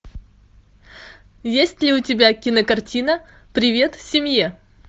есть ли у тебя кинокартина привет семье